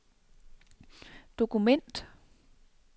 dokument